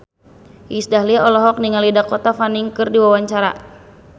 Iis Dahlia olohok ningali Dakota Fanning keur diwawancara